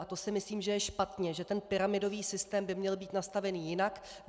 A to si myslím, že je špatně, že ten pyramidový systém by měl být nastavený jinak.